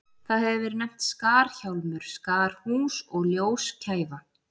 Það hefur verið nefnt skarhjálmur, skarhús og ljóskæfa.